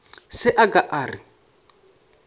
se a ka a re